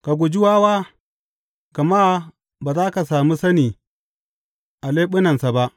Ka guji wawa, gama ba za ka sami sani a leɓunansa ba.